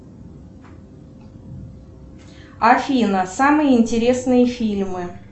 афина самые интересные фильмы